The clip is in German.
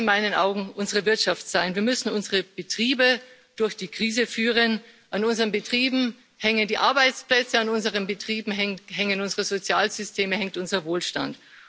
2 muss in meinen Augen unsere Wirtschaft sein. Wir müssen unsere Betriebe durch die Krise führen, an unseren Betrieben hängen die Arbeitsplätze, an unseren Betrieben hängen unsere Sozialsysteme, hängt unser Wohlstand.